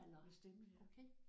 Med stemme ja